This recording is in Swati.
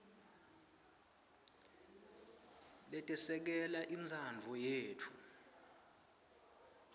letesekela intsandvo yetfu